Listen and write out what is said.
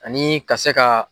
Ani ka se ka.